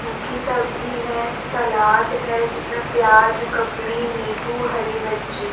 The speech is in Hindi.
सूखी सब्जी है सलाद है जिसमें प्याज ककड़ी नींबू हरी मिर्ची --